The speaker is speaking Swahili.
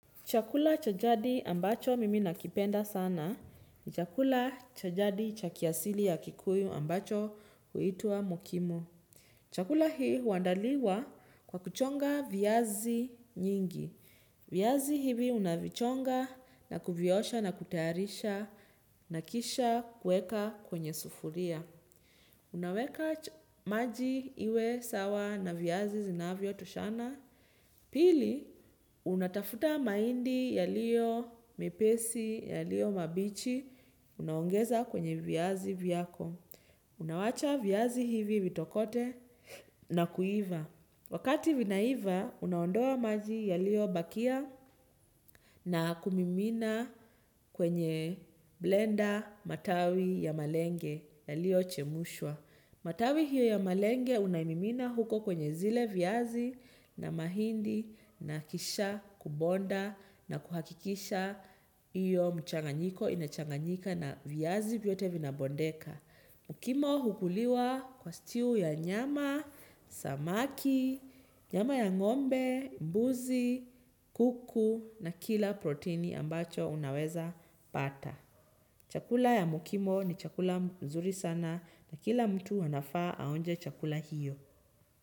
Chakula cha jadi ambacho mimi nakipenda sana ni chakula cha jadi cha kiasili ya kikuyu ambacho kuitua mokimo. Chakula hii uwandaliwa kwa kuchonga viazi nyingi. Viazi hivi unavichonga na kuviosha na kutayarisha na kisha kweka kwenye sufuria. Unaweka maji iwe sawa na viazi zinavyo toshana. Pili, unatafuta maindi yaliyo mepesi, yaliyo mabichi, unaongeza kwenye viyazi viyako. Unawacha viyazi hivi vitokote na kuiva. Wakati vinaiva, unaondoa maji yaliyo bakia na kumimina kwenye blender matawi ya malenge yaliyo chemushwa. Matawi hiyo ya malenge unaimimina huko kwenye zile viazi na mahindi na kisha kubonda na kuhakikisha iyo mchanganyiko inachanganyika na viazi viyote vinabondeka. Mukimo hukuliwa kwa stew ya nyama, samaki, nyama ya ngombe, mbuzi, kuku na kila proteini ambacho unaweza pata. Chakula ya mukimo ni chakula mzuri sana na kila mtu anafaa aonje chakula hiyo.